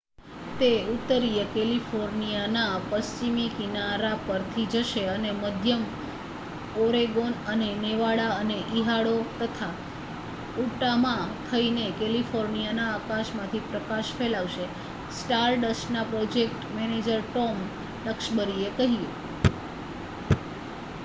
"""તે ઉત્તરીય કૅલિફોર્નિયાના પશ્ચિમી કિનારા પરથી જશે અને મધ્ય ઓરેગોન અને નેવાડા અને ઇડાહો તથા ઉટામાં થઈને કૅલિફોર્નિયાના આકાશમાંથી પ્રકાશ ફેલાવશે," સ્ટારડસ્ટના પ્રોજેક્ટ મેનેજર ટૉમ ડક્સબરીએ કહ્યું.